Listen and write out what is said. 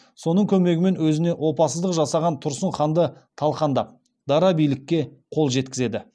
соның көмегімен өзіне опасыздық жасаған тұрсын ханды талқандап дара билікке қол жеткізеді